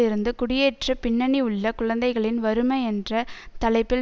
இருந்து குடியேற்ற பின்னணி உள்ள குழந்தைகளின் வறுமை என்ற தலைப்பில்